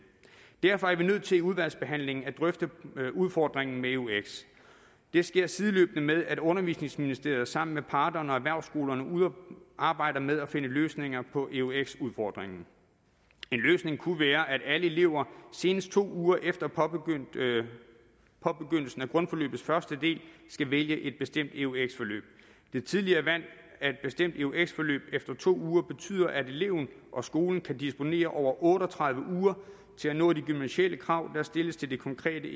derfor er vi nødt til i udvalgsbehandlingen at drøfte udfordringen med eux det sker sideløbende med at undervisningsministeriet sammen med parterne og erhvervsskolerne arbejder med at finde løsninger på eux udfordringen en løsning kunne være at alle elever senest to uger efter påbegyndelsen af grundforløbets første del skal vælge et bestemt eux forløb det tidlige valg af et bestemt eux forløb efter to uger betyder at eleven og skolen kan disponere over otte og tredive uger til at nå de gymnasiale krav der stilles til det konkrete